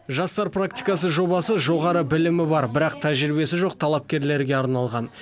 жастар практикасы жобасы жоғары білімі бар бірақ тәжірибесі жоқ талапкерлерге арналған